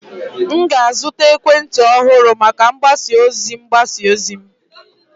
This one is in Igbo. M ga-azụta ekwentị ọhụrụ maka mgbasa ozi mgbasa ozi m